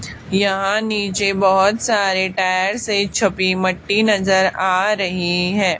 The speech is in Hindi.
यहां नीचे बहोत सारे टायर से छपी मट्टी नजर आ रही है।